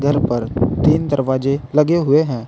तीन दरवाजे लगे हुए हैं।